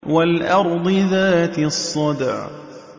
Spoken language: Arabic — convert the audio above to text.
وَالْأَرْضِ ذَاتِ الصَّدْعِ